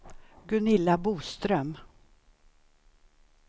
Gunilla Boström